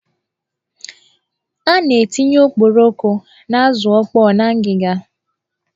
A na-etinye okporoko na azụ ọkpọ n'ngiga.